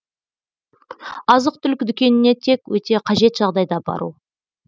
азық түлік дүкеніне тек өте қажет жағдайда бару